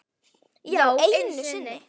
Já, einu sinni.